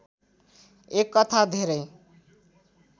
एक कथा धेरै